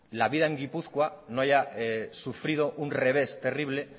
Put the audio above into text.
la vida en gipuzkoa no haya sufrido un revés terrible